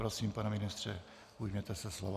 Prosím, pane ministře, ujměte se slova.